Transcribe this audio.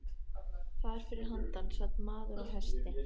Þar fyrir handan sat maður á hesti.